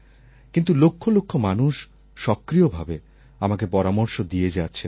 কিন্তু লক্ষ লক্ষ মানুষ সক্রিয়ভাবে আমাকে পরামর্শ দিয়ে যাচ্ছেন